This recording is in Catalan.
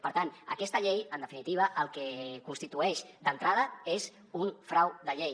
per tant aquesta llei en definitiva el que constitueix d’entrada és un frau de llei